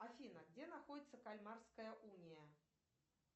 афина где находится кальмарская уния